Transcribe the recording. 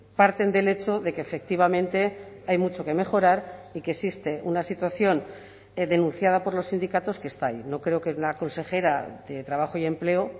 parten del hecho de que efectivamente hay mucho que mejorar y que existe una situación denunciada por los sindicatos que está ahí no creo que la consejera de trabajo y empleo